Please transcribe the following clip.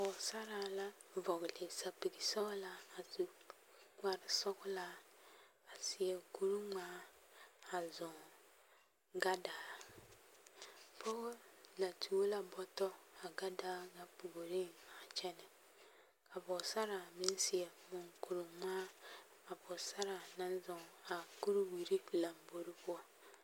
Pɔgesaraa la vɔgele sapigi sɔgelaa a su kpare sɔgelaa a seɛ kuri ŋmaa a zɔŋ gadaa, pɔgɔ la tuo la bɔtɔ a gadaa ŋa puoriŋ a kyɛnɛ ka pɔgesaraa meŋ seɛ muŋkuri ŋmaa a pɔgesaraa naŋ zɔŋ a kuriwiri lambori poɔ.